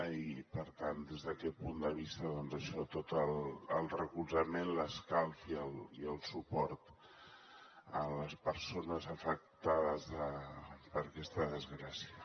i per tant des d’aquest punt de vista doncs això tot el recolzament l’escalf i el suport a les persones afectades per aquesta desgràcia